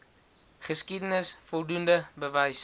geskiedenis voldoende bewys